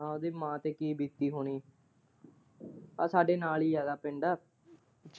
ਹਾਂ ਉਦੀ ਮਾਂ ਤੇ ਕੀ ਬੀਤੀ ਹੁਣੀ ਆ ਸਾਡੇ ਨਾਲ ਹੀ ਆ ਓਦਾ ਪਿੰਡ।